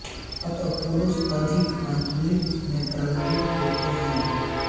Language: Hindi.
अतः पुरुष अधिक आवृत्तियों में प्रभावित होते हैं